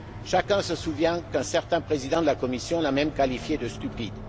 Chacun se souvient qu'un certain président de la Commission l'a même qualifié de stupide.